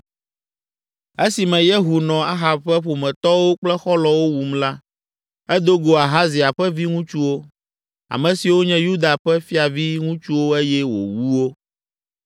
Esime Yehu nɔ Ahab ƒe ƒometɔwo kple xɔlɔ̃wo wum la, edo go Ahazia ƒe viŋutsuwo, ame siwo nye Yuda ƒe fiaviŋutsuwo eye wòwu wo.